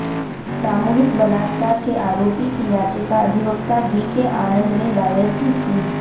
सामूहिक बलात्कार के आरोपी की याचिका अधिवक्ता वीके आनंद ने दायर की थी